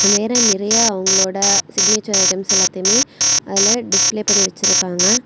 வேற நிறைய அவங்களோட சிக்னேச்சர் ஐட்டம்ஸ் எல்லாத்தையுமே அதுல டிஸ்ப்ளே பண்ணி வெச்சிருக்காங்க.